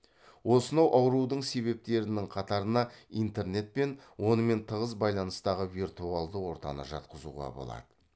осынау аурудың себептерінің қатарына интернет пен онымен тығыз байланыстағы виртуалды ортаны жатқызуға болады